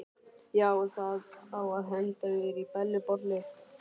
Já, og það á að henda mér í Bellu bollu.